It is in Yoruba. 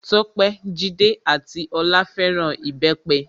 Tope, Jídé ati Olá fẹ́ràn Ìbẹ́pẹ.